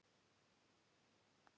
Það er snúið.